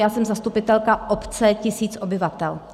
Já jsem zastupitelka obce, tisíc obyvatel.